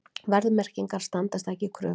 Verðmerkingar standast ekki kröfur